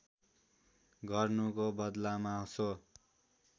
गर्नुको बदलामा सो